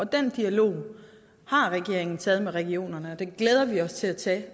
den dialog har regeringen taget med regionerne og vi glæder os til at tage